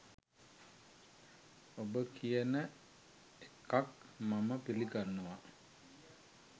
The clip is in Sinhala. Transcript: ඔබ කියන එකක් මම පිලිගන්නවා